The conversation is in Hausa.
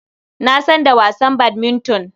Na san da wasan badminton.